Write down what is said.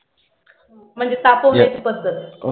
म्हणजे तापवन्याची पध्दत.